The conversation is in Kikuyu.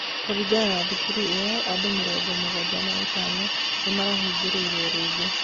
Kũringana na thukuru ĩyo andu mĩrongo mũgwanja na ĩtano ni mahingũrĩiruo rĩngĩ